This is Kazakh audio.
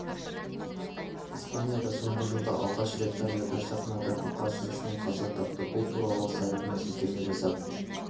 испанияда соңғы жылда алғаш рет тореодор сахнада бұқа сүзгісінен қаза тапты бұл туралы сайтына сілтеме жасап